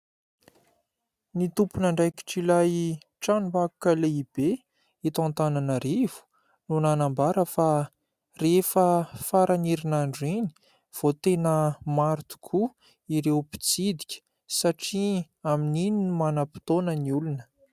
Ny tompon'andraikitr'ilay tranom-bakoka lehibe eto Antananarivo no nanambara fa rehefa faran'ny herinandro iny vao tena maro tokoa ireo mpitsidika, satria amin'iny no manam-potoana ny olona.